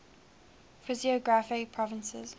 physiographic provinces